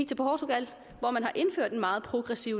til portugal hvor man har indført en meget progressiv